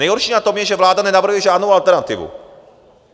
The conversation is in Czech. Nejhorší na tom je, že vláda nenavrhuje žádnou alternativu.